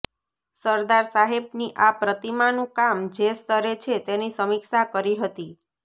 સરદાર સાહેબની આ પ્રતિમાનું કામ જે સ્તરે છે તેની સમીક્ષા કરી હતી